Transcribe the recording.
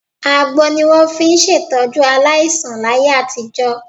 Àgbo ni wọ́n fi ń ṣètọ́jú aláìsàn láyé àtijọ́.